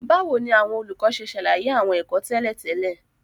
Báwo ni àwọn olùkọ́ ṣe ṣàlàyé àwọn ẹ̀kọ́ tẹ́lẹ̀ tẹ́lẹ̀?